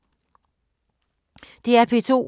DR P2